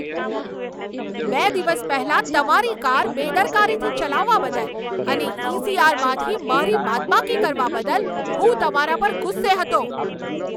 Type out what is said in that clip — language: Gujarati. બે દિવસ પહેલાં તમારી કાર બેદરકારીથી ચલાવવા બદલ અને ઈ.સી.આર.માંથી મારી બાદબાકી કરવા બદલ હું તમારા પર ગુસ્સે હતો.